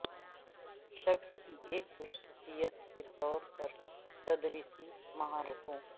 شخص کی ایک خصوصیت کے طور پر تدریسی مہارتوں